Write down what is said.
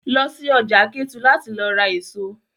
Lọ sí ọjà Kétu láti lọ ra èso!